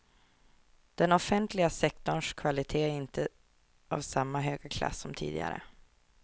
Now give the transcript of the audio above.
Den offentliga sektorns kvalitet är inte av samma höga klass som tidigare.